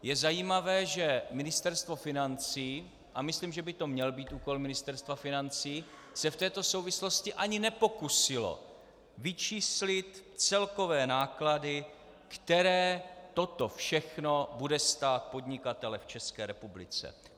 Je zajímavé, že Ministerstvo financí, a myslím, že by to měl být úkol Ministerstva financí, se v této souvislosti ani nepokusilo vyčíslit celkové náklady, které toto všechno bude stát podnikatele v České republice.